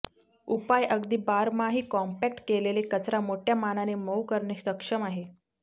उपाय अगदी बारमाही कॉम्पॅक्ट केलेले कचरा मोठ्या मानाने मऊ करणे सक्षम आहे